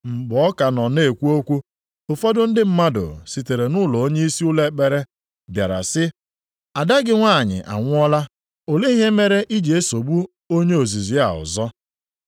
Mgbe ọ ka nọ na-ekwu okwu, ụfọdụ ndị mmadụ sitere nʼụlọ onyeisi ụlọ ekpere bịara sị, “Ada gị nwanyị anwụọla, olee ihe mere i ji esogbu onye ozizi a ọzọ?”